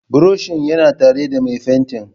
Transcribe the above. Buroshin yana tare da mai fenti.